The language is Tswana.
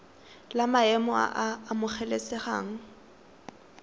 la maemo a a amogelesegang